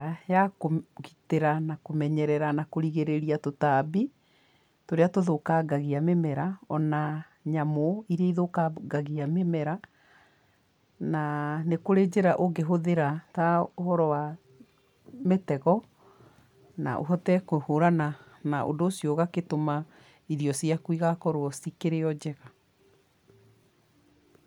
Njĩra ya kũgitĩra na kũmenyerera na kũrigirĩria tũtambi, tũrĩa tũthũkangagia mĩmera, o na nyamũ iria ithũkangagia mĩmera, na nĩ kũrĩ njĩra ũngĩhũthĩra ta ũhoro wa mĩtego na ũhote kũhũrana na ũndũ ũcio ũgagĩtũma irio ciaku igakorwo cikĩrĩ o njega.